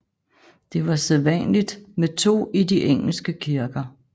Det var sædvanligt med to i de engelske kirker